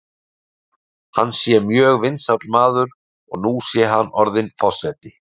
Hann sé mjög vinsæll maður og nú sé hann orðinn forseti.